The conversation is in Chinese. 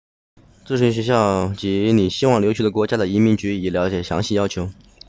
咨询学校及你希望留学的国家的移民局以了解详细要求